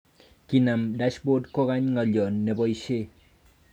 Kinam 'Dashboard' kokony ngaliyot neboishe